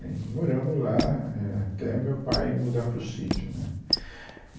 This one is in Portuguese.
E moramos lá é até o meu pai mudar para o sítio, né